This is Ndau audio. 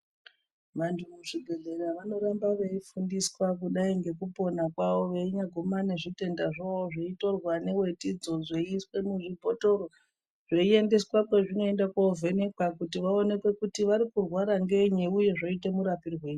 Vantu kuzvibhedhleya vanoramba veifundiswa kudai ngekupona kwawo veinyaguma nezvitenda zvavo zveitorwa newetidzo dzeiiswa muzvibhotoro zveiendeswa kwazvinoenda kovhenekwa, veionekwa kuti vari kurwara ngenyi uye zvoite murapwirei.